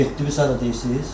Getdiniz haradı deyirsiz?